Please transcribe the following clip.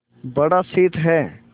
बड़ा शीत है